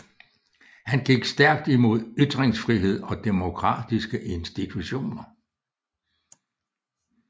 Han gik stærkt imod ytringsfrihed og demokratiske institutioner